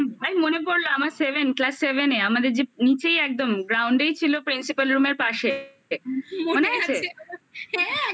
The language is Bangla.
ভাই মনে পড়লো আমার seven class seven এ আমাদের যে নিচেই একদম ground এই ছিল principal room এর পাশে মনে আছে? ওরে বাপরে